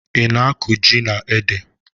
Ị na-akụ ji na ede?